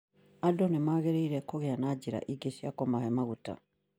Andũ nĩmagĩrĩire kũgĩa na njĩra ingĩ cia kũmahe magũta